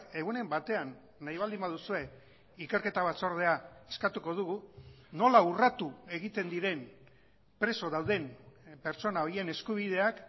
egunen batean nahi baldin baduzue ikerketa batzordea eskatuko dugu nola urratu egiten diren preso dauden pertsona horien eskubideak